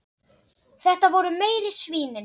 Þetta voru meiri svínin.